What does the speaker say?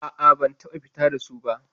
A'a, ban taɓa fita da su ba.